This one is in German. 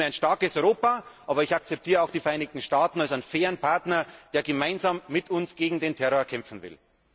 Ich wünsche mir ein starkes Europa. Aber ich akzeptiere auch die Vereinigten Staaten als einen fairen Partner, der gemeinsam mit uns gegen den Terror kämpfen will.